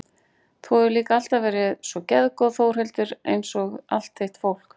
Þú hefur líka alltaf verið svo geðgóð Þórhildur einsog allt þitt fólk.